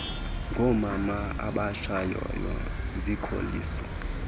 ngoomama abatshayayo zikholisa